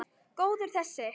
Góður þessi!